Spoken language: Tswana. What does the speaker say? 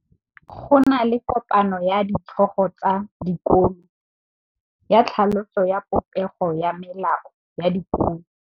Go na le kopanô ya ditlhogo tsa dikolo ya tlhaloso ya popêgô ya melao ya dikolo.